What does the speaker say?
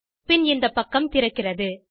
பின் இந்தப்பக்கம் திறக்கிறது